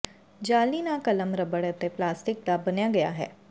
ਜਾਅਲੀ ਨਾ ਕਲਮ ਰਬੜ ਅਤੇ ਪਲਾਸਟਿਕ ਦਾ ਬਣਾਇਆ ਗਿਆ ਹੈ